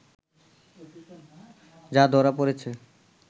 যা ধরা পড়েছে